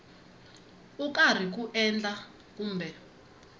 u karhi ku endla kumbe